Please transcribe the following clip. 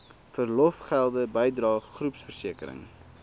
verlofgelde bydrae groepversekering